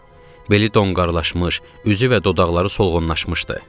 Beli donqarlaşmış, üzü və dodaqları solğunlaşmışdı.